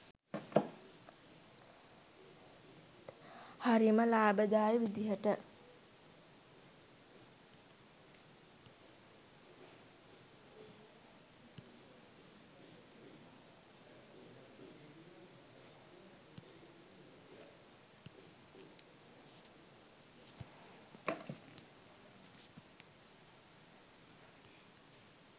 හරිම ලාභදායී විදිහට